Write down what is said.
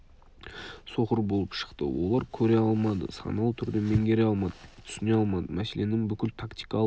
соқыр болып шықты олар көре алмады саналы түрде меңгере алмады түсіне алмады мәселенің бүкіл тактикалық